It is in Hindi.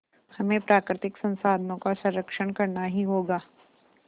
हमें प्राकृतिक संसाधनों का संरक्षण करना ही होगा